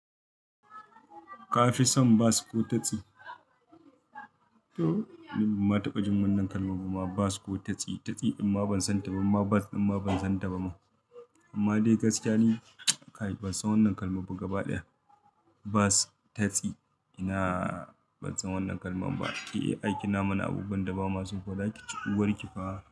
Ka fi son bas ko tatsi? To! Ni ban ma taɓa jin wannan kalmam ba bas ko tatsi. Tatsi amma ban san taɓa ma, bas amma ban san taɓa ma. Amma dai gaskiya ni kai, ban san wannan kalmabba gaba ɗaya. Bas, tatsi. Ina ban san wannan kalman ba. E, aikin namu na abubuwan da ba maso ba za ki co uwar ki fa.